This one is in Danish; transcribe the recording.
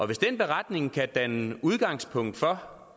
hvis den beretning kan danne udgangspunkt for